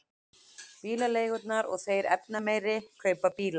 Bílaleigurnar og þeir efnameiri kaupa bíla